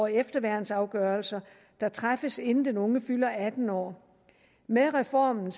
efterværnsafgørelser der træffes inden den unge fylder atten år med reformen